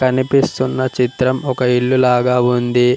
కనిపిస్తున్న చిత్రం ఒక ఇల్లు లాగా ఉంది.